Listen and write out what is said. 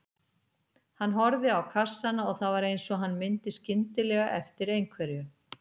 Hann horfði á kassana og það var eins og hann myndi skyndilega eftir einhverju.